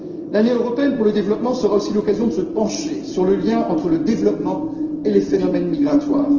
tous. L'Année européenne pour le développement sera aussi l'occasion de se pencher sur le lien entre le développement et les phénomènes migratoires.